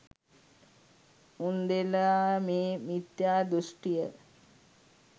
උන්දෙලා මේ මිත්‍යා දෘෂ්ටිය